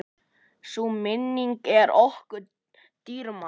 Sú minning er okkur dýrmæt.